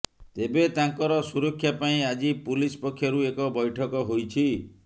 ତେବେ ତାଙ୍କର ସୁରକ୍ଷା ପାଇଁ ଆଜି ପୁଲିସ ପକ୍ଷରୁ ଏକ ବୈଠକ ହୋଇଛି